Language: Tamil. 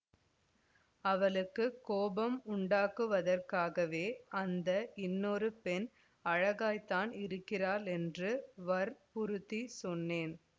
அவளுக்குக் கோபம் உண்டாக்குவதற்காகவே அந்த இன்னொரு பெண் அழகாய்த்தான் இருக்கிறாள் என்று வற்புறுத்திச் சொன்னேன்